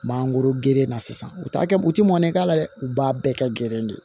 Mangoro gerenna sisan u t'a kɛ u tɛ mɔnɛ k'a la dɛ u b'a bɛɛ kɛ gere de ye